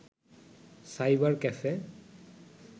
cyber cafe